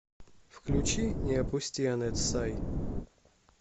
включи не опусти анет сай